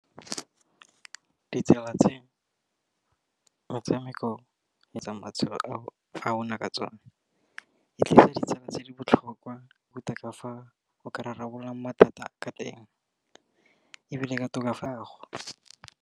Ditsela tse metshameko etsang matshelo a rona ka tsona, e tlisa ditsela tse di botlhokwa botoka fa go ka rarabolola mathata ka teng, ebile ka tokafatso.